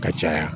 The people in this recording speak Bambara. Ka caya